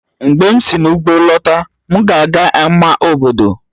Mgbe m si n'ugbo lọta, m ga-aga ama obodo